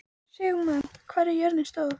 Sigmann, hvað er jörðin stór?